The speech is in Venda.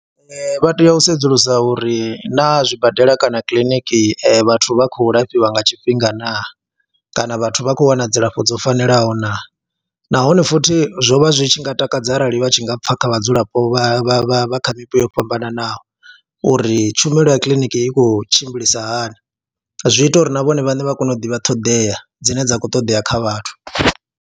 Vha tea u sedzulusa uri naa zwibadela kana kiḽiniki vhathu vha khou lafhiwa nga tshifhinga naa kana vhathu vha khou wana dzilafho dzo fanelaho naa nahone futhi zwo vha zwi tshi nga takadza arali vha tshi nga pfha kha vhadzulapo vha vha vha vha kha mipo yo fhambananaho uri tshumelo ya kiḽiniki i khou tshimbilisa hani, zwi ita uri na vhone vhaṋe vha kone u ḓivha ṱhoḓea dzine dza khou ṱoḓea kha vhathu.